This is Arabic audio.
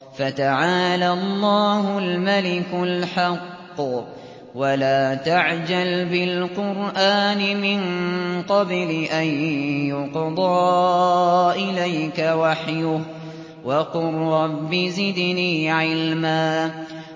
فَتَعَالَى اللَّهُ الْمَلِكُ الْحَقُّ ۗ وَلَا تَعْجَلْ بِالْقُرْآنِ مِن قَبْلِ أَن يُقْضَىٰ إِلَيْكَ وَحْيُهُ ۖ وَقُل رَّبِّ زِدْنِي عِلْمًا